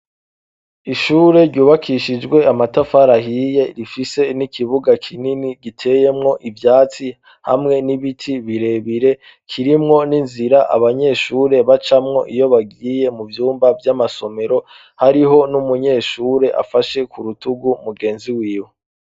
Ishure ryubakishijwe amatafarahiye rifise n'ikibuga kinini giteyemwo ivyatsi hamwe n'ibiti birebire kirimwo n'inzira abanyeshure bacamwo iyo bagiye mu vyumba vy'amasomero hariho n'umunyeshure afashe ku rutugu mugenzi wiwe.